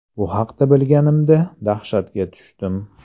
Bu haqda bilganimda dahshatga tushdim.